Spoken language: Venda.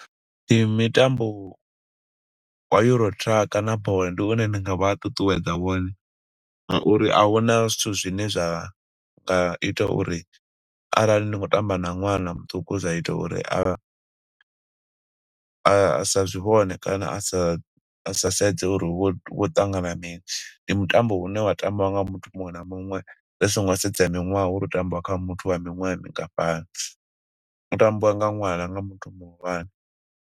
Ndi mitambo wa Euro-truck na , ndi une ndi nga vha ṱuṱuwedza wone, nga uri ahuna zwithu zwine zwa nga ita uri arali ni khou tamba na ṅwana muṱuku zwa ita uri a a sa zwi vhone kana, asa sedze uri hu khou ṱangana mini. Ndi mutambo une wa tambiwa nga muthu muṅwe na muṅwe ri songo sedza miṅwaha uri hu tambiwa kha muthu wa miṅwaha mingafhani. Hu tambiwa nga ṅwana na nga muthu muhulwane.